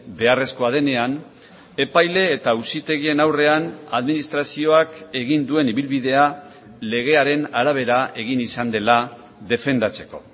beharrezkoa denean epaile eta auzitegien aurrean administrazioak egin duen ibilbidea legearen arabera egin izan dela defendatzeko